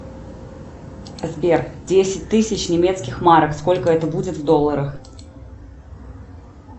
сбер десять тысяч немецких марок сколько это будет в долларах